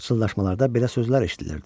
Pıçıltılarda belə sözlər eşidilirdi: